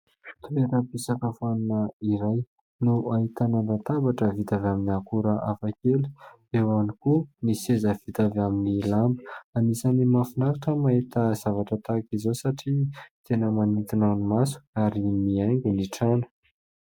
Toeram-pisakafoana iray no ahitana latabatra vita avy amin'ny akora hafakely eo ihany koa ny seza vita avy amin'ny lamba. Anisan'ny mahafinaritra ny mahita zavatra tahaka izao satria tena manintona ny maso ary miaingo ny trano.